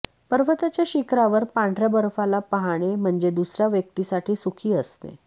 पर्वताच्या शिखरावर पांढर्या बर्फाला पहाणे म्हणजे दुसऱ्या व्यक्तीसाठी सुखी असणे